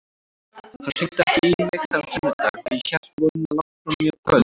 Hann hringdi ekki í mig þennan sunnudag, ég hélt í vonina langt fram á kvöld.